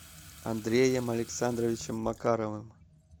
андреем александровичем макаровым